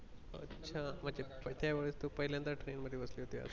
अच्छा म्हणजे त्यावेळेस तू पहिल्यान्दा ट्रेन मधबसली होती.